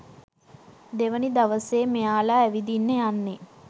දෙවෙනි දවසේ මෙයාලා ඇවිදින්න යන්නේ